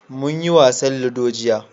mun yi wasan ludo jiya